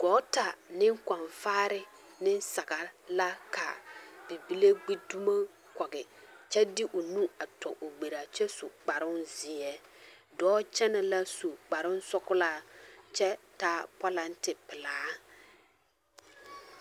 Gɔɔta ne kɔnfaare ne saga la ka bibile gbi dumo kɔge kyɛ de o nu tɔ o gberaa kyɛ su kparoŋ zeɛ dɔɔ kyɛnɛ la su kparoŋsɔglaa kyɛ taa pɔlentin pelaa.